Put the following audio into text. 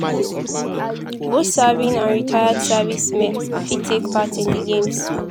both serving and retired servicemen fit take part in di games.